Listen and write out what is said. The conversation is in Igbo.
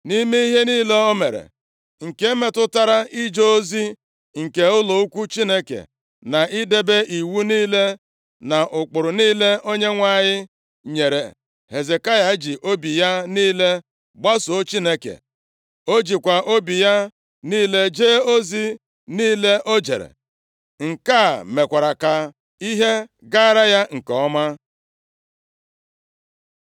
Nʼime ihe niile o mere, nke metụtara ije ozi nke ụlọ ukwu Chineke, na idebe iwu niile na ụkpụrụ niile Onyenwe anyị nyere, Hezekaya ji obi ya niile gbasoo Chineke. O jikwa obi ya niile jee ozi niile o jere. Nke a mekwara ka ihe gaara ya nke ọma.